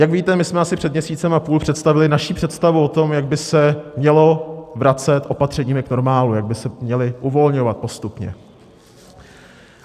Jak víte, my jsme asi před měsícem a půl představili naši představu o tom, jak by se mělo vracet opatřeními k normálu, jak by se měla uvolňovat postupně.